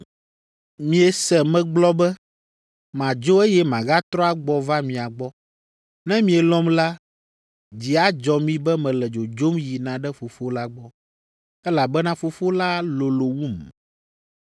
“Miese megblɔ be, ‘Madzo eye magatrɔ agbɔ va mia gbɔ.’ Ne mielɔ̃m la, dzi adzɔ mi be mele dzodzom yina ɖe Fofo la gbɔ, elabena Fofo la lolo wum.